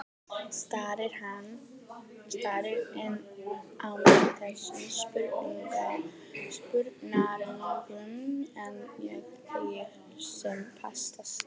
Starir enn á mig þessum spurnaraugum, en ég þegi sem fastast.